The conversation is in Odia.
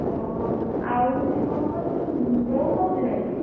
ଓହୋ ଆଉ ହଉଛି କଣ କହନି ବୋଉ କୋଉଦିନ ଯିବେ?